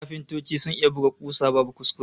Kafintoci sun iya buga kusa babu kuskure!